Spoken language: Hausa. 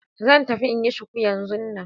Zan tafi in yi shuku yanzun nan.